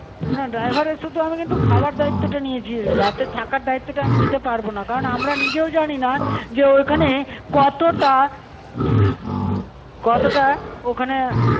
না driver এর শুধু আমি কিন্তু খাবার দায়িত্বটা নিয়েছি, রাতে থাকার দায়িত্বটা আমি নিতে পারবো না. কারণ আমরা নিজেও জানি না যে ঐখানে কতটা কতটা ওখানে